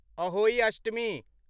Ahoi Ashtami